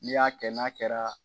N'i y'a kɛ n'a kɛra